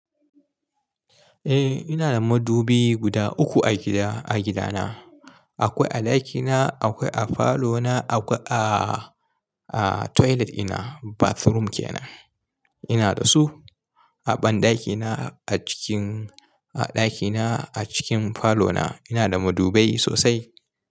Eh, ina da madubi guda uku a gida, a gidana. Akwai a ɗakina, akwai a falona, akwai a, a toilet ina bathroom ke nan. Ina da su. A banɗakina, a cikin, a ɗakina, a cikin falona ina da madubai sosai.